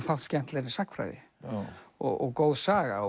fátt skemmtilegra en sagnfræði og góð saga